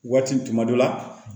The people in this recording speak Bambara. Waati tuma dɔ la